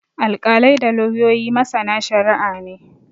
Alkalai da lauyoyi masana shari'a ne.